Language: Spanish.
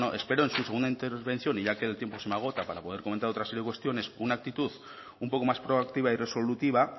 bueno espero en su segunda intervención y ya que el tiempo se me agota para comentar otra serie de cuestiones una actitud un poco más proactiva y resolutiva